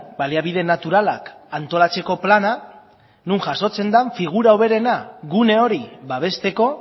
baliabide naturalak antolatzeko plana non jasotzen den figura hoberena gune hori babesteko